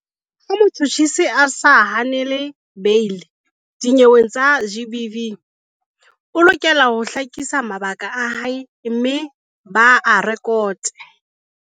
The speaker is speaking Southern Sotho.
Ha motjhutjhisi a sa hanele beili dinyeweng tsa GBV, o lokela ho hlakisa mabaka a hae mme ba a re-kote.